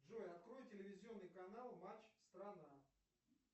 джой открой телевизионный канал матч страна